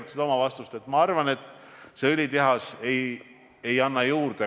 Mul ei ole must valgel ühtegi kirja, et see neljas õlitehas kuidagi olukorda halvendaks või annaks midagi juurde.